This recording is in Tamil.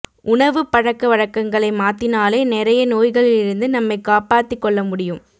உணவு பழக்கவழக்ககளை மாத்தினாலே நெறைய நோய்களிலிருந்து நம்மை காப்பாத்தி கொள்ள முடியும்